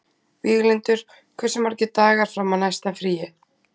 Víglundur, hversu margir dagar fram að næsta fríi?